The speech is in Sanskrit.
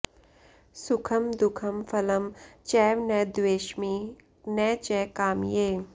सुखं दुःखं फलं चैव न द्वेष्मि न च कामये